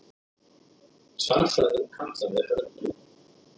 Stærðfræðin kallaði Örn upp.